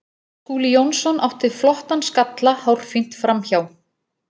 Skúli Jónsson átti flottan skalla hárfínt framhjá.